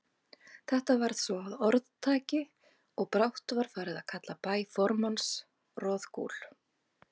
Þetta varð svo að orðtaki, og brátt var farið að kalla bæ formanns Roðgúl.